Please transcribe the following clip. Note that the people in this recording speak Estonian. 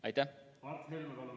Mart Helme, palun!